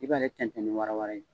I bɛ bale tɛntɛn ni wara wara ye.